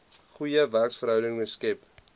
goeie werksverhoudinge skep